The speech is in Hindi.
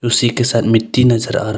उसी के साथ मिट्टी नजर--